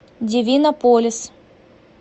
дивинополис